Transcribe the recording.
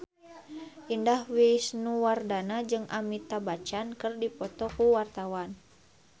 Indah Wisnuwardana jeung Amitabh Bachchan keur dipoto ku wartawan